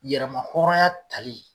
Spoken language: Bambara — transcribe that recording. Yɛrɛmahɔrɔnya tali